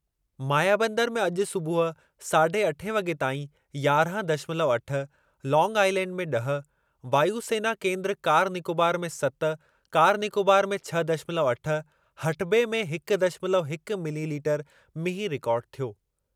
मायाबंदर में अॼु सूबुह साढ़े अठे वॻे ताईं यारहं दशमलव अठ, लांग आइलैंड में ॾह, वायु सेना केन्द्र कार निकोबार में सत कार निकोबार में छह दशमलव अठ, हटबे में हिक दशमलव हिक मिलीलीटर मींहुं रिकार्ड थियो।